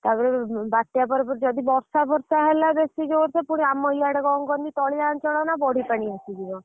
ତାପରେ ବାତ୍ୟା ପରେ ବର୍ଷ ଫାର୍ଶ ହେଲା ବେଶୀ ଜୋରସେ ଆମ ଆଡେ କଣ କହନି ତଳିଆ ଅଞ୍ଚଳ ନାଁ ବଢି ପାଣି ଆସିଯିବ।